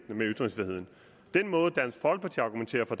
med ytringsfriheden den måde dansk folkeparti argumenterer for